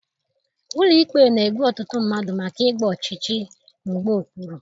Ụlọ ikpe na-egbu ọtụtụ mmadụ maka ịgba ọchịchị mgba okpuru